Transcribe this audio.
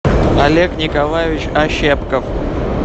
олег николаевич ощепков